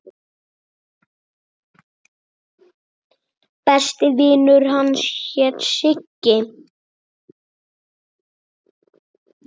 Besti vinur hans hét Siggi.